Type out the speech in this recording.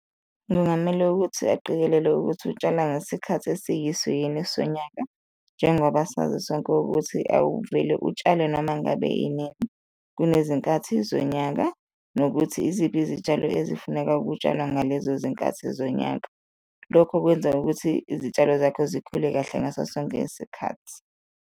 Kungamele ukuthi aqikelele ukuthi utshala ngesikhathi esiyiso yini sonyaka njengoba sazisonke ukuthi awuvele utshale noma ngabe yini, kunezinkathi zonyaka nokuthi iziphi izitshalo ezifuneka ukutshalwa ngalezo zinkathi zonyaka, lokho kwenza ukuthi izitshalo zakho zikhule kahle ngaso sonke isikhathi.